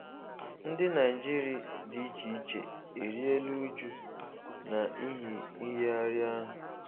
Ndi Naịjịrị di icheiche erila ụjụ na ịhi nyighari ahụ